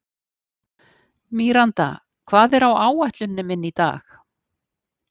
Míranda, hvað er á áætluninni minni í dag?